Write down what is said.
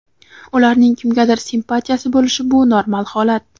ularning kimgadir simpatiyasi bo‘lishi bu normal holat.